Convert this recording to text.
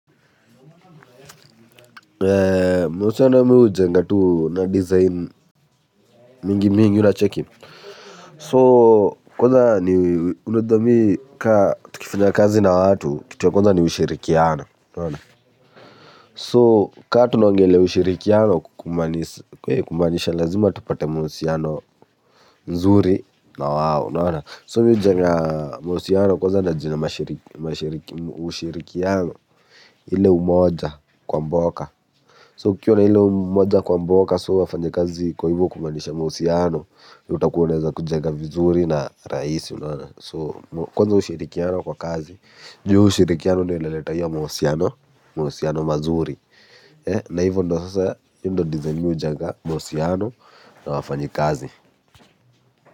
Mahusiano mimi hujenga tu na design mingi mingi una cheki So kwanza ni unajuamimi kama tukifanya kazi na watu kitu ya kwanza ni ushirikiano So kama tunaongelelea ushirikiano kumaanisha lazima tupate mahusiano nzuri na wao So mimi hujenga mahusiano kwanza na jina ushirikiano ile umoja kwa mboka So ukiwa na ile umoja kwa mboka so wafanyakazi kwa kumaanisha mahusiano utakuwa unaweza kujenga vizuri na rahisi So kwanza ushirikiano kwa kazi juu ushirikiano ndiyo inaleta hio mahusiano mazuri. Na hivo ndio sasa hio ndio design mimi hujenga mahusiano na wafanyakazi.